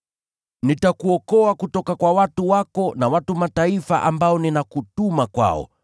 Nitakuokoa kutoka kwa watu wako na watu wa Mataifa ambao ninakutuma kwao,